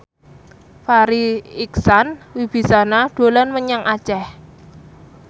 Farri Icksan Wibisana dolan menyang Aceh